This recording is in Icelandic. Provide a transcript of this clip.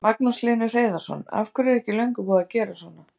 Magnús Hlynur Hreiðarsson: Af hverju er ekki löngu búið að gera svona?